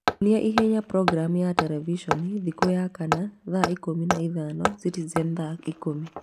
nyonia ihenya programu ya televisheni thikũ ya kana thaa ikũmi na ithano Citizen thaa ikũmi